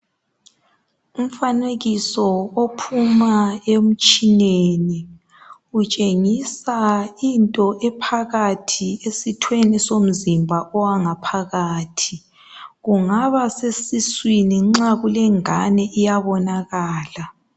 Umfanekiso ophuma emtshineni, utshengisa into ephakathi esithweni somzimba owangaphakathi. Kungaba kusesiswini nxa kulengane kuyabonakala.